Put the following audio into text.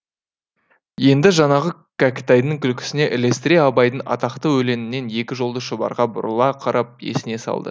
енді жаңағы кәкітайдың күлкісіне ілестіре абайдың атақты өлеңінен екі жолды шұбарға бұрыла қарап есіне салды